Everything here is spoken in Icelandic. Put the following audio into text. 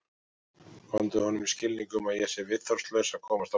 Komdu honum í skilning um að ég sé viðþolslaus að komast á bak.